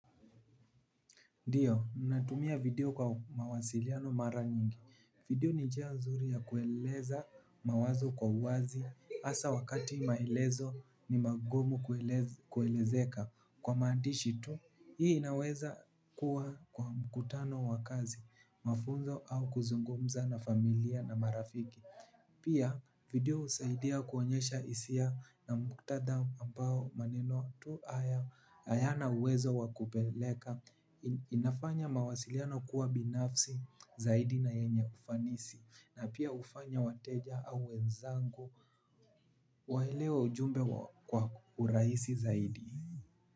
Ndiyo, natumia video kwa mawasiliano mara nyingi, video ni njia nzuri ya kueleza mawazo kwa uwazi, hasa wakati maelezo ni magumu kuelezeka kwa maandishi tu, hii inaweza kuwa kwa mkutano wa kazi, mafunzo au kuzungumza na familia na marafiki. Pia video husaidia kuonyesha hisia na muktadha ambao maneno tu hayana uwezo wakupeleka inafanya mawasiliano kuwa binafsi zaidi na yenye ufanisi na pia ufanya wateja au wenzangu waelewe ujumbe kwa urahisi zaidi.